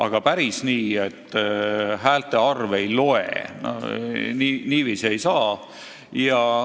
Aga päris nii, et häälte arv ei loe – niiviisi ei saa.